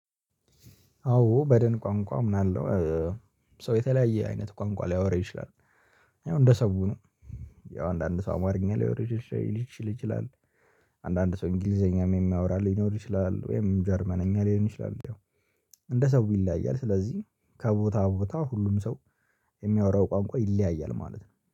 አዎ በደን ቋንቋ አምናለው። ሰው የተለያየ አይነት ቋንቋ ሊያወራ ይችላል። ያው እንደ ሰው ነው። ያው አንዳንድ ሰው አማርኛ ሊያወራሽ ሽ ሊች ይችላል። አንዳንድ ሰው እንግሊዘኛም የሚያወራ ሊኖር ይችላል ወይም ጀርመንኛ ሊሆን ይችላል። ያው እንደ ሰው ይለያያል። ስለዚህ ከቦታ ቦታ ሁሉም ሰው የሚያወራው ቋንቋ ይለያያል ማለት ነው።